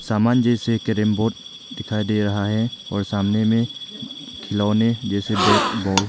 सामान जैसे carrom board दिखाई दे रहा है और सामने में खिलौने जैसे बैट बॉल --